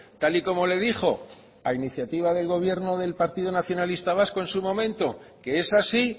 tal y como le dijo a iniciativa del gobierno del partido nacionalista vasco en sumomento que es así